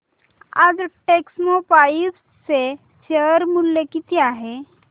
आज टेक्स्मोपाइप्स चे शेअर मूल्य किती आहे